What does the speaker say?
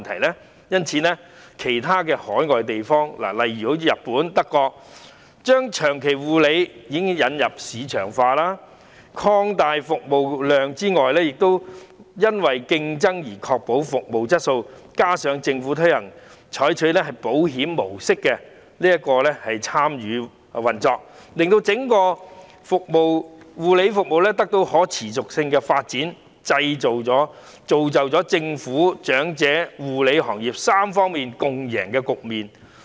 海外其他國家，例如日本和德國，都已為長期護理引入市場化模式，以擴大服務量，服務質素亦因為競爭而得以確保，加上政府透過採取保險模式參與運作，令整個護理服務行業得到可持續發展，造就了政府、長者和護理行業3方面共贏的局面。